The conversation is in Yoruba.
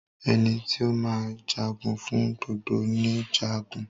Ẹni tí o máa jagun fún gbogbo ni Jagun.